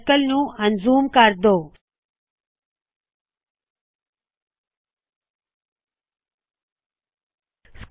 circle ਨੂ ਅਨਜ਼ੂਮ ਅਨਜੂਸ ਕਰ ਦੋ